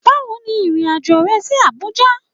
Bawo ni irin ajo re si Abuja